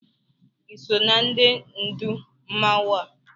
Iso na ndị ndụù mmanwụ a?